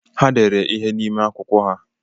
Ha dere ihe n'ime akwụkwọ ha.